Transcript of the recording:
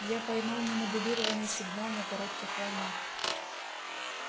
я поймал немодулированный сигнал на коротких волнах